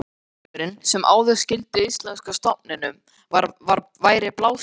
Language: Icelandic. Jarðvegurinn, sem áður skýldi íslenska stofninum, væri blásinn upp.